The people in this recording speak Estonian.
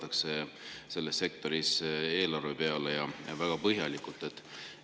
Ja ka selles sektoris vaadatakse ikkagi väga hoolega eelarve peale.